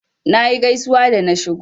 Nayi gaisuwa da na shigo.